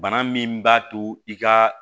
Bana min b'a to i ka